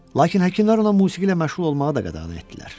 Lakin həkimlər ona musiqi ilə məşğul olmağı da qadağan etdilər.